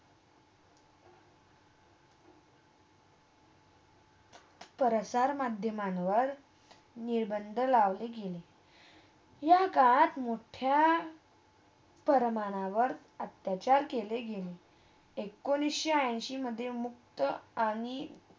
संसार मध्यामांवर निरभन्द लावले केली या काळात मुठ्या प्रमाणावर अत्याचार केले गेली एकोणीस ऐंशीमधे मुक्त आणि